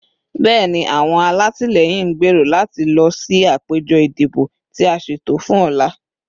Bẹẹni, awọn alatilẹyin n gbero lati lọ si apejọ idibo ti a ṣeto fun ọla